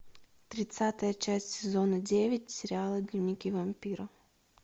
тридцатая часть сезона девять сериала дневники вампира